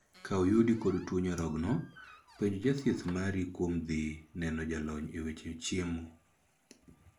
Ka oyudi kod tuo nyarogno, penj jathieth mari kuom dhii neno jalony e weche chiemo.